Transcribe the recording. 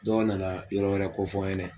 Dɔ nana yɔrɔ wɛrɛ ko fɔ n ɲɛnɛ.